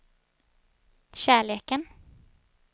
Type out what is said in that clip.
kärleken